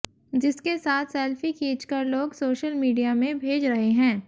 जिसके साथ सेल्फी खींचकर लोग सोशल मीडिया में भेज रहे हैं